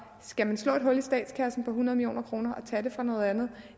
skal slå et hul i statskassen på hundrede million kroner og tage det fra noget andet